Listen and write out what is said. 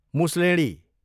मुसलेँडी